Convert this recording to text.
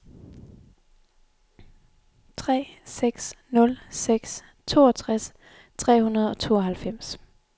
tre seks nul seks toogtres tre hundrede og tooghalvfems